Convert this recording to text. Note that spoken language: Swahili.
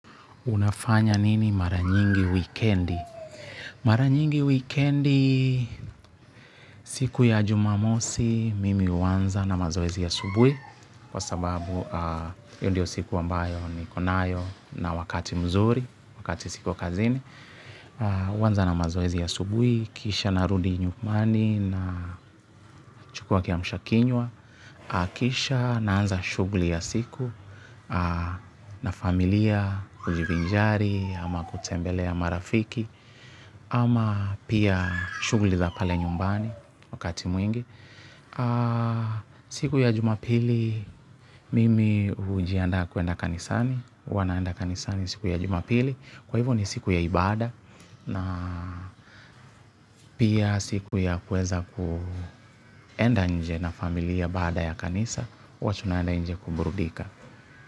Unafanya nini mara nyingi wikendi. Mara nyingi wikendi, siku ya jumamosi, mimi huanza na mazoezi asubuhi kwa sababu hiyo ndio siku ambayo niko nayo na wakati mzuri, wakati siko kazini huanza na mazoezi asubui, kisha narudi nyumbani na nachukua kiamshakinywa kisha naanza shugli ya siku na familia, hujivinjari ama kutembelea marafiki. Ama pia shughuli za pale nyumbani wakati mwingi. Siku ya jumapili mimi hujiandaa kuenda kanisani huwa naenda kanisani siku ya jumapili. Kwa hivyo ni siku ya ibada. Na pia siku ya kuweza kuenda nje na familia baada ya kanisa huwa tunaenda nje kuburudika.